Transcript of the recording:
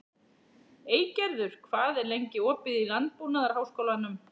Eygerður, hvað er lengi opið í Landbúnaðarháskólanum?